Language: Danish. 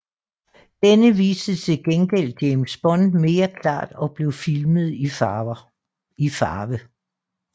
Denne viste til gengæld James Bond mere klart og blev filmet i farve